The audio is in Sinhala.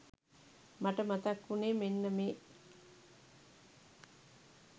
මට මතක් වුනේ මෙන්න මේ